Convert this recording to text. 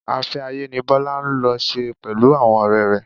Afẹ́-ayé ni Bọlá lọ ṣe pẹ̀lú àwọn ọrẹ rẹ.